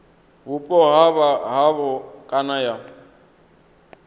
vhupo ha havho kana ya